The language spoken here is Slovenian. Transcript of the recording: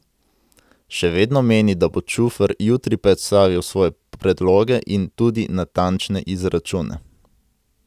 Še vedno meni, da bo Čufer jutri predstavil svoje predloge in tudi natančne izračune.